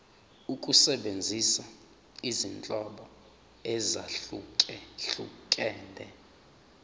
ukusebenzisa izinhlobo ezahlukehlukene